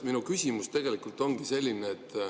Minu küsimus ongi selline.